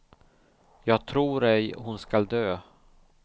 Jag tror ej hon skall dö.